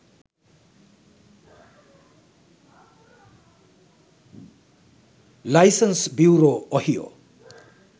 license bureau ohio